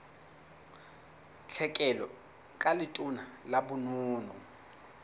tlhekelo ka letona la bonono